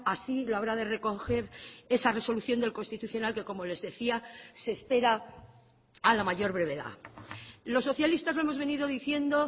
así lo habrá de recoger esa resolución del constitucional que como les decía se espera a la mayor brevedad los socialistas lo hemos venido diciendo